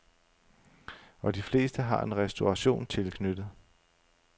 Og de fleste har en restauration tilknyttet.